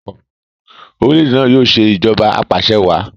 orilẹ-ède náa yóò ṣe Ìṣèjọba Apaṣẹwàá